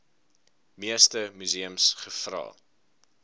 meeste museums gevra